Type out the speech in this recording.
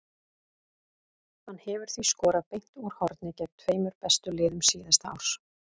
Hann hefur því skorað beint úr horni gegn tveimur bestu liðum síðasta árs.